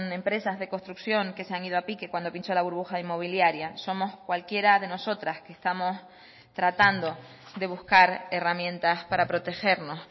empresas de construcción que se han ido a pique cuando pinchó la burbuja inmobiliaria somos cualquiera de nosotras que estamos tratando de buscar herramientas para protegernos